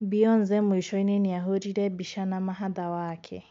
Beyonce mwisho-ini niahũrire mbica na mahatha wake.